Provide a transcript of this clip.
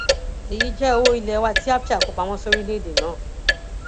èyí jẹ owó ilé wa tí abcha kó pamọ sóríléèdè náà